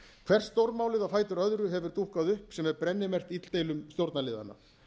hvert stórmálið á fætur öðru hefur dúkkað upp sem er brennimerkt illdeilum stjórnarliðanna